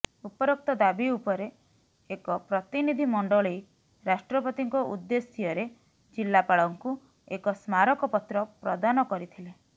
ଉପରୋକ୍ତ ଦାବି ଉପରେ ଏକ ପ୍ରତିନିଧିମଣ୍ଡଳୀ ରାଷ୍ଟ୍ରପତିଙ୍କ ଉଦେ୍ଦଶ୍ୟରେ ଜିଲ୍ଲାପାଳଙ୍କୁ ଏକ ସ୍ମାରକପତ୍ର ପ୍ରଦାନ କରିଥିଲେ